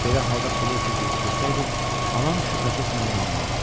Belə halda pulu itirdiyimi desəydim, anam şübhəsiz mənə inanardı.